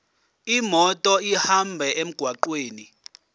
imoto ihambe emgwaqweni